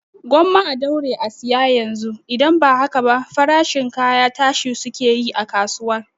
Gwamma a daure a saya yanzu, idan ba haka ba farashin kaya tashi suke yi a kasuwa